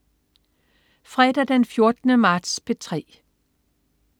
Fredag den 14. marts - P3: